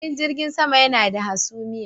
Filin jirgin sama yana da hasumiya.